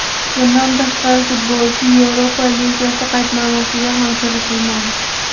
Bundan tashqari, futbolchi Yevropa Ligasi qaydnomasiga ham kiritilmadi.